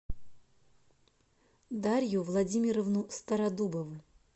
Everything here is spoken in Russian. дарью владимировну стародубову